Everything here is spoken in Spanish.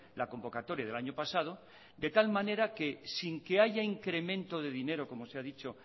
la convocatoria del año pasado de tal manera que sin que haya incremento de dinero como se ha dicho